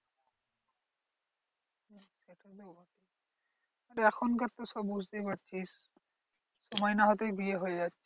এখনকার তো সব বুঝতেই পারছিস সময় না হতেই বিয়ে হয়ে যাচ্ছে।